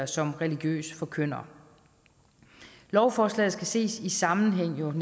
som religiøs forkynder lovforslaget skal jo ses i sammenhæng